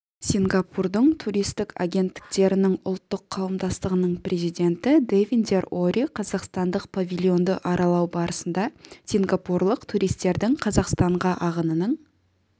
сингапурдың туристік агенттіктерінің ұлттық қауымдастығының президенті дэвиндер ори қазақстандық павильонды аралау барысында сингапурлық туристердің қазақстанға ағынының